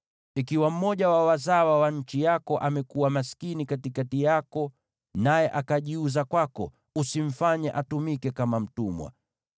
“ ‘Ikiwa mmoja wa wazawa wa nchi yako amekuwa maskini katikati yako, naye akajiuza kwako, usimfanye atumike kama mtumwa.